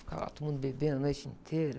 Ficava lá todo mundo bebendo a noite inteira.